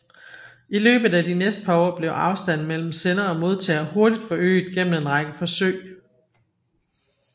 I løbet af de næste par år blev afstanden mellem sender og modtager hurtigt forøget gennem en række forsøg